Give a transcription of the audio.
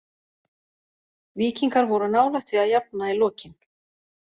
Víkingar voru nálægt því að jafna í lokin.